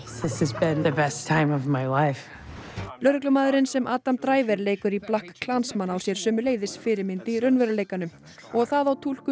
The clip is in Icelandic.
Jacks Hock lögreglumaðurinn sem Adam leikur í BlackKKlansman á sér sömuleiðis fyrirmynd í raunveruleikanum og það á túlkun